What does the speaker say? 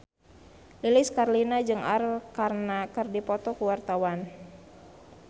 Lilis Karlina jeung Arkarna keur dipoto ku wartawan